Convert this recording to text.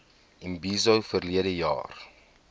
imbizo verlede jaar